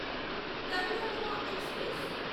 Karnataka express